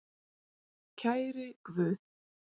Kæri Guð.